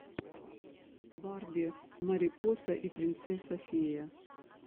барби марипоса и принцесса фея